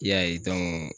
I y'a ye